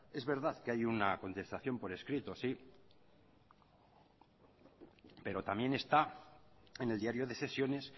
es verdad que hay una contestación por escrito sí pero también está en el diario de sesiones